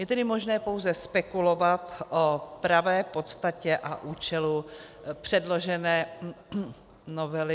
Je tedy možné pouze spekulovat o pravé podstatě a účelu předložené novely...